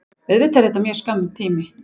Auðvitað er það mjög skammur tími